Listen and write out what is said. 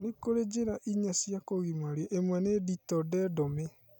Nikũrĩ njĩra inya cia kũgimario ĩmwe nĩ ditordedomy